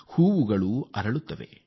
ಹೂಗಳು ಅರಳುತ್ತವೆ